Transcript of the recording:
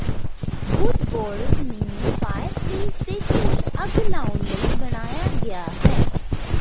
ਵੁੱਡਬੋਰਰ ਨੂੰ ਫਾਇਰਪਲੇਸ ਦੇ ਕੋਲ ਅੱਗ ਲਾਉਣ ਲਈ ਬਣਾਇਆ ਗਿਆ ਹੈ